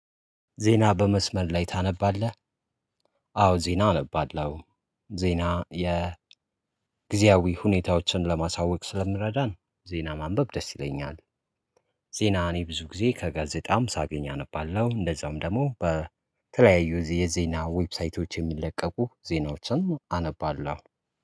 ዜና በመስመር ላይ ታነባለህ? አዎ ዜና አነባለሁ። ዜና የጊዜያዊ ሁኔታዎችን ለማሳወቅ ስለሚረዳን ዜና ማንበብ ደስ ይለኛል። ዜና እኔ ብዙ ጊዜ ከጋዜጣም ሳገኝ አነባለሁ እንደዛዉም ደግሞ በተለያዩ የዜና ዌብሳይቶች የሚለቀቁ ዜናዎችን አነባለሁ